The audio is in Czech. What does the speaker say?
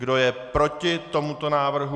Kdo je proti tomuto návrhu?